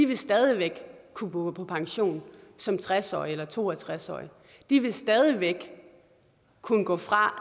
vil stadig væk kunne gå på pension som tres årige eller to og tres årige de vil stadig væk kunne gå fra